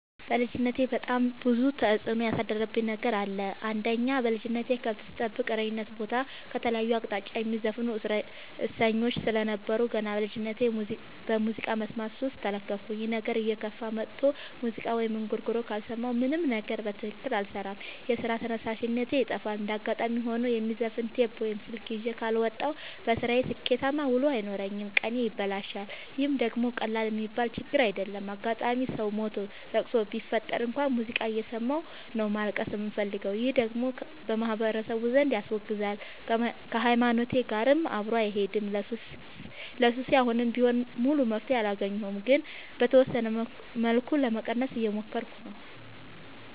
በልጅነቴ በጣም ብዙ ተጽዕኖ ያሳደረብኝ ነገር አለ። አንደኛ በልጅነቴ ከብት ስጠብቅ እረኝነት ቦታ ከተለያየ አቅጣጫ የሚዘፍኑ እሰኞች ስለነበሩ። ገና በልጅነቴ በሙዚቃ መስማት ሱስ ተለከፍኩኝ ይህ ነገርም እየከፋ መጥቶ ሙዚቃ ወይም እንጉርጉሮ ካልሰማሁ ምንም ነገር በትክክል አልሰራም የስራ ተነሳሽነቴ ይጠፋል። እንደጋጣሚ ሆኖ የማዘፍ ነው ቴፕ ወይም ስልክ ይዤ ካልወጣሁ። በስራዬ ስኬታማ ውሎ አይኖረኝም ቀኔ ይበላሻል ይህ ደግሞ ቀላል የሚባል ችግር አይደለም። አጋጣም ሰው ሞቶ ለቅሶ ቢፈጠር እንኳን ሙዚቃ እየሰማሁ ነው ማልቀስ የምፈልገው ይህ ደግሞ በማህበረሰቡ ዘንድ ያስወግዛል። ከሀይማኖቴም ጋር አብሮ አይሄድም። ለሱሴ አሁንም ቢሆን ሙሉ መፍትሔ አላገኘሁም ግን በተወሰነ መልኩ ለመቀነስ እየሞከርኩ ነው።